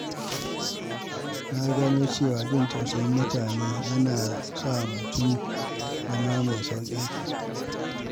Na gano cewa jin tausayin mutane yana sa mutum zama mai sauƙin kai.